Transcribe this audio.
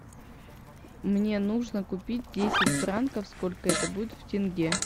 мне нужно купить десять франков сколько это будет в тенге